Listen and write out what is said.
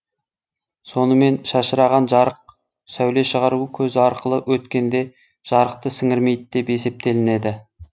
сонымен шашыраған жарық сәуле шығару көзі арқылы өткенде жарықты сіңірмейді деп есептелінеді